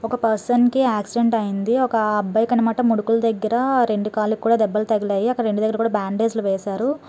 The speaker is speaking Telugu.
ఒక పర్సన్ కి ఆక్సిడెంట్ అయింది. ఒక అబ్బాయికి అన్నమాట ముడుకుల దగ్గర రెండు కాళ్ళుకి కూడా దెబ్బలు తగిలాయి. అక్కడ రెండు దగ్గర కూడా బ్యాండేజ్ లు వేశారు.